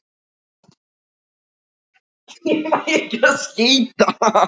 Í dag er það eitthvað dimmt.